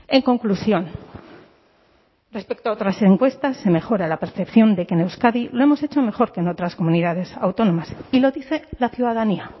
en conclusión respecto a otras encuestas se mejora la percepción de que en euskadi lo hemos hecho mejor que en otras comunidades autónomas y lo dice la ciudadanía